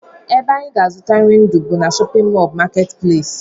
Ebe anyị ga-azụta nri ndụ bụ na shọpịn mọl marketplace